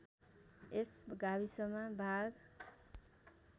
यस गाविसमा बाघ